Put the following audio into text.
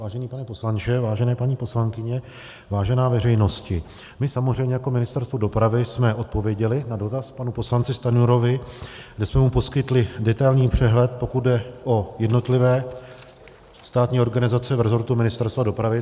Vážený pane poslanče, vážené paní poslankyně, vážená veřejnosti, my samozřejmě jako Ministerstvo dopravy jsme odpověděli na dotaz panu poslanci Stanjurovi, kde jsme mu poskytli detailní přehled, pokud jde o jednotlivé státní organizace v rezortu Ministerstva dopravy.